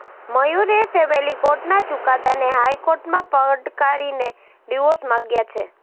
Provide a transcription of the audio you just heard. મયૂરે family કોર્ટના ચુકાદાને હાઈકોર્ટમાં પડકારીને ડિવોર્સ માગ્યા છે